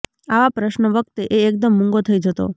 આવા પ્રશ્નો વખતે એ એકદમ મૂંગો થઇ જતો